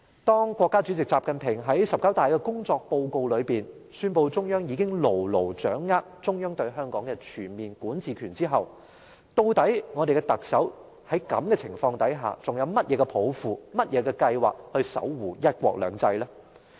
當國家主席習近平在"十九大"的工作報告中，宣布中央已牢牢掌握中央對香港的全面管治權後，究竟我們的特首在這種情況下還有甚麼抱負和計劃守護"一國兩制"？